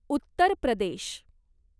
Uttar Pradesh